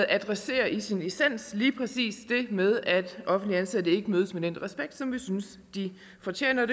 adresserer i sin essens lige præcis det med at offentligt ansatte ikke mødes med den respekt som vi synes de fortjener